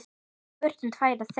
Við brutum tvær þeirra.